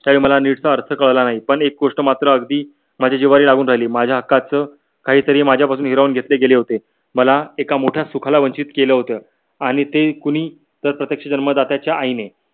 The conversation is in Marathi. मला नीटसा अर्थ कळला नाही पण एक गोष्ट मात्र अगदी माझ्या जिव्हारी लागून राहिली माझ्या हकाकांच काहीतरी माझ्या पासून हिरावून घेतले गेले होते. मला एक मोट्या सुखाला वंचित केल होत. आणि ते कुणी तर प्रत्यक्ष जन्मदात्याच्या आईने